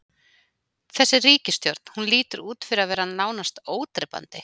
Þessi ríkisstjórn, hún lítur út fyrir að vera nánast ódrepandi?